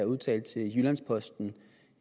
udtalte til jyllands posten